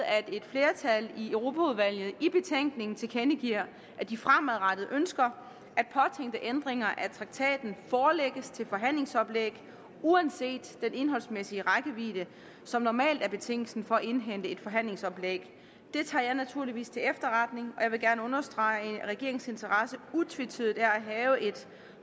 at et flertal i europaudvalget i betænkningen tilkendegiver at de fremadrettet ønsker at påtænkte ændringer af traktaten forelægges til forhandlingsoplæg uanset den indholdsmæssige rækkevidde som normalt er betingelsen for at indhente et forhandlingsoplæg det tager jeg naturligvis til efterretning og jeg vil gerne understrege at regeringens interesse utvetydigt er at have et